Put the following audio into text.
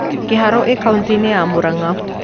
Kiharũ ĩ kautĩ-inĩ ya Mũrang'a